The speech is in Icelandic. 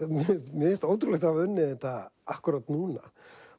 mér finnst ótrúlegt að hafa unnið þetta akkúrat núna